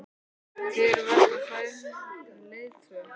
Hver vegna fær hann sér ekki leiðtoga?